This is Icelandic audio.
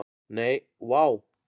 Nei, vá.